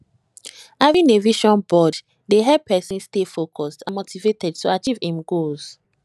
having a vision board dey help pesin stay focused and motivated to achieve im goals